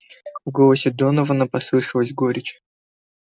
в голосе донована послышалась горечь